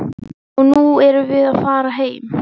Og nú erum við að fara heim.